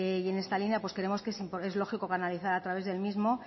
y en esta línea creemos que es lógico canalizar a través del mismo